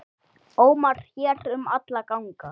ómar hér um alla ganga.